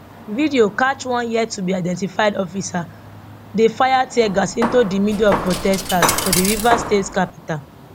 video catchone yet to be identified officer dey fire teargas into di middle of prostesters for di rivers state capital